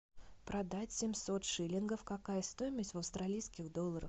продать семьсот шиллингов какая стоимость в австралийских долларах